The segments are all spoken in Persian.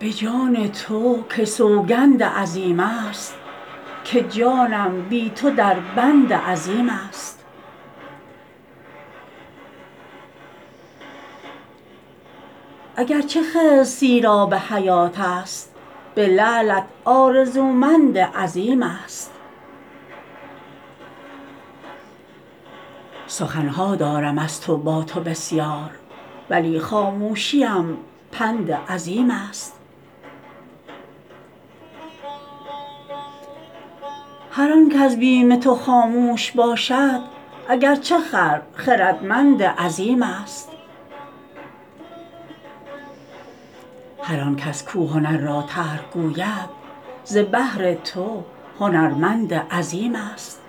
به جان تو که سوگند عظیمست که جانم بی تو دربند عظیمست اگر چه خضر سیرآب حیاتست به لعلت آرزومند عظیمست سخن ها دارم از تو با تو بسیار ولی خاموشیم پند عظیمست هر آن کز بیم تو خاموش باشد اگر چه خر خردمند عظیمست هر آن کس کو هنر را ترک گوید ز بهر تو هنرمند عظیمست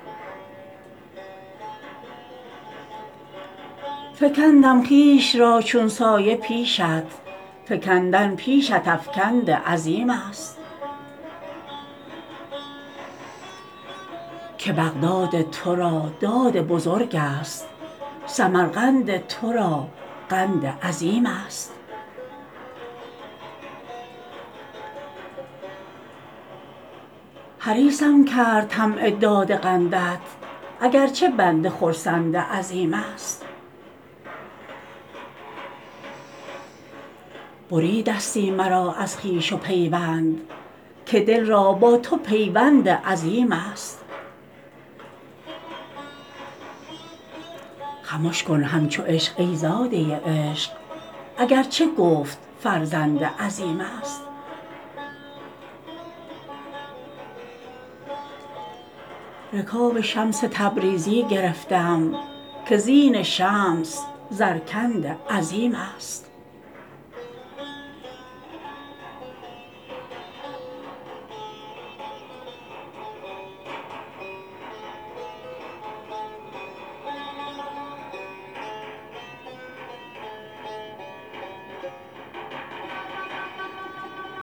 فکندم خویش را چون سایه پیشت فکندن پیشت افکند عظیمست که بغداد تو را داد بزرگست سمرقند تو را قند عظیمست حریصم کرد طمع داد قندت اگر چه بنده خرسند عظیمست بریدستی مرا از خویش و پیوند که دل را با تو پیوند عظیمست خمش کن همچو عشق ای زاده عشق اگر چه گفت فرزند عظیمست رکاب شمس تبریزی گرفتم که زین شمس زرکند عظیمست